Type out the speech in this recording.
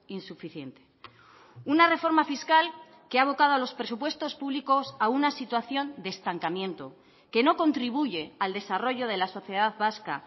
insuficiente una reforma fiscal que ha abocado a los presupuestos públicos a una situación de estancamiento que no contribuye al desarrollo de la sociedad vasca